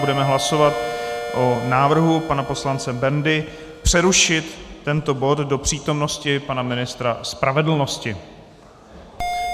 Budeme hlasovat o návrhu pana poslance Bendy přerušit tento bod do přítomnosti pana ministra spravedlnosti.